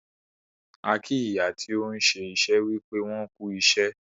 A kì ìyá tí òun ṣé iṣẹ́ wípé wọn "kú ìṣẹ́".